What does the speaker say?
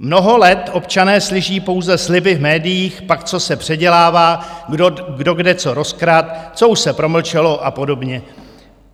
Mnoho let občané slyší pouze sliby v médiích, pak co se předělává, kdo kde co rozkradl, co už se promlčelo a podobně.